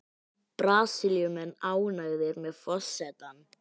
Brasilíumenn ánægðir með forsetann